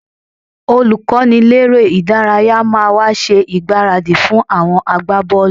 Olùkọ́niléré-ìdárayá máa wá ṣe ìgbáradì fún àwọn agbábọ́ọ̀lù